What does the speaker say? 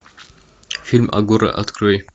фильм агора открой